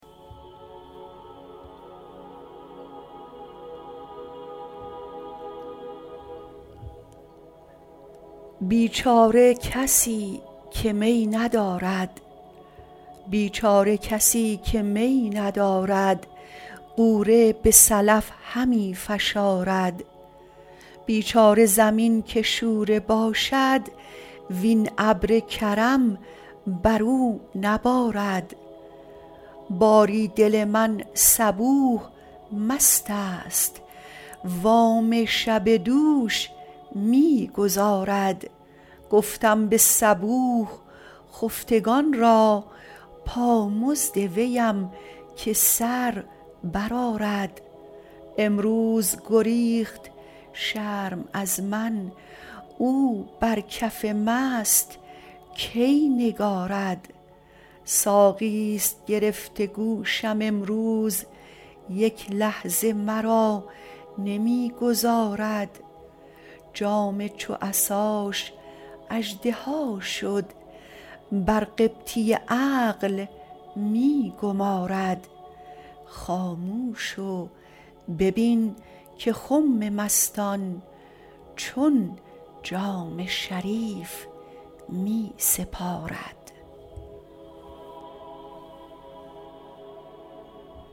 بیچاره کسی که می ندارد غوره به سلف همی فشارد بیچاره زمین که شوره باشد وین ابر کرم بر او نبارد باری دل من صبوح مستست وام شب دوش می گزارد گفتم به صبوح خفتگان را پامزد ویم که سر برآرد امروز گریخت شرم از من او بر کف مست کی نگارد ساقیست گرفته گوشم امروز یک لحظه مرا نمی گذارد جام چو عصاش اژدها شد بر قبطی عقل می گمارد خاموش و ببین که خم مستان چون جام شریف می سپارد